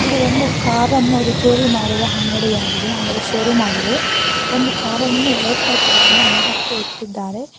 ಒಂದು ಕಾರನ್ನು ರಿಪೇರಿ ಮಾಡುವ ಅಂಗಡಿಯಾಗಿದೆ ಆಮೇಲೆ ಶೋರೂಮ್ ಆಗಿದೆ ಒಂದು ಕಾರ ಅನ್ನು ವೈಟ್ ಕಲರ್ ಕಾರ್ ಅನ್ನು ಮೇಲಕ್ಕೆ ಎತ್ತಿದ್ದಾರೆ.